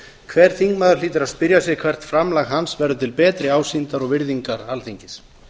hver þingmaður hlýtur að spyrja sig hvert framlag hans verður til betri ásýndar og virðingar alþingis